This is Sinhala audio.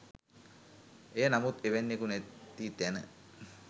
එය නමුත් එවැන්නෙකු නැති තැන